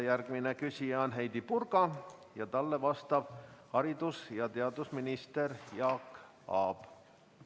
Järgmine küsija on Heidy Purga, talle vastab haridus- ja teadusminister Jaak Aab.